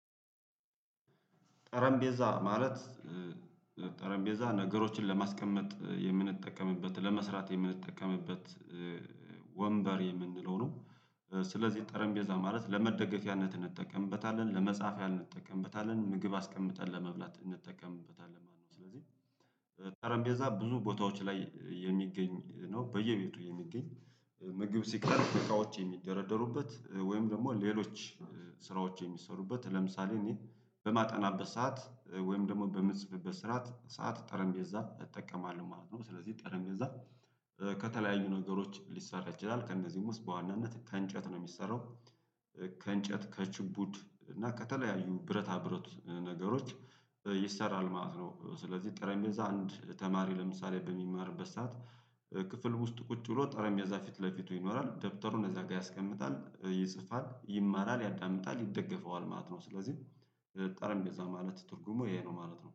ጠረንቤዛ ማለት ጠረጴዛ ነገሮችን ለማስቀመጥ የምንጠቀምበት ለመስራት የምንጠቀምበት ኧ ወንበር የምንለው ነው። ስለዚህ ጠረንጴዛ ማለት ለመደገፊያነት እንጠቀምበታለን ለመፃፊያ እንጠቀምበታለን ምግብ አስቀምጠን ለመብላት እንጠቀምበታለን ማለት ነው። ስለዚህ ጠረንቤዛ ብዙ ቦታዎች ላይ የሚገኝ ነው። በየቤቱ የሚገኝ ምግብ ሲከርብ እቃዎች የሚደረደሩበት ወይም ደሞ ሌሎች ስራዎች የሚሰሩበት ለምሳሌ እኔ በማጠናበት ሰዓት ወይም ደግሞ በምጽፍበት ሰዓት ጠረንቤ እጠቀማለሁ ማለት ነው። ስለዚህ ጠረን ቤዛ ከተለያዩ ነገሮች ሊሰራ ይችላል ከእነዚህም ውስጥ በዋናነት ከእንጨት ነው የሚሰራው። ከእንጨት ከጭፑድ እና ከተለያዩ ብረታ ብረት ነገሮች ይሰራል ማለት ነው። ስለዚህ ጠረንጴዛ አንድ ተማሪ ለምሳሌ በሚማርበት ሰዓት ክፍል ውስጥ ቁጭ ብሎ ጠረንጴዛ ፊት ለፊቱ ይኖራል ደብተሩን እዛ ጋ ያስቀምጣል ይጽፋል ይማራል ያዳምጣል ይደገፈዋል ማለት ነው። ስለዚህ ጠረንጴዛ ማለት ትርጉሙ ይሄ ነው ማለት ነው